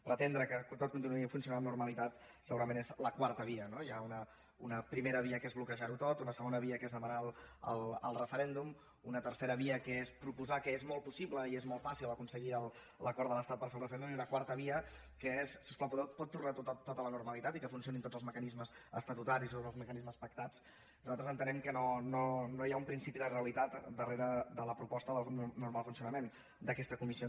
pretendre que tot continuï funcionant amb normalitat segurament és la quarta via no hi ha una primera via que és bloquejar ho tot una segona via que és demanar el referèndum una tercera via que és proposar que és molt possible i és molt fàcil aconseguir l’acord de l’estat per fer el referèndum i una quarta via que és si us plau pot tornar tot a la normalitat i que funcionin tots els mecanismes estatutaris tots els mecanismes pactats nosaltres entenem que no hi ha un principi de realitat darrere de la proposta d’un normal funcionament d’aquesta comissió